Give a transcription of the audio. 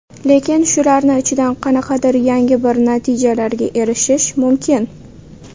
Lekin, shularni ichidan qanaqadir yangi bir natijalarga erishish mumkin.